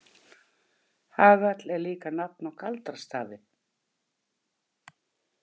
Hagall er líka nafn á galdrastafi.